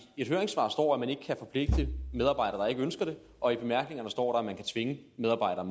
et høringssvar står at man ikke kan forpligte medarbejdere der ikke ønsker det og i bemærkningerne står der at man kan tvinge medarbejdere